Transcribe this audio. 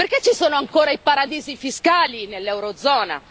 Perché ci sono ancora i paradisi fiscali nell'eurozona?